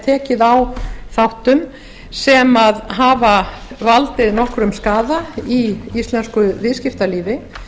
tekið á þáttum sem hafa valdið nokkrum skaða í íslensku viðskiptalífi